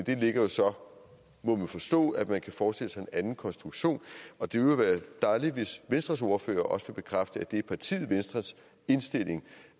det ligger jo så må vi forstå at man kan forestille sig anden konstruktion og det ville være dejligt hvis venstres ordfører også ville bekræfte at det er partiet venstres indstilling